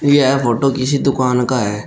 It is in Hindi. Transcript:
यह फोटो किसी दुकान का है।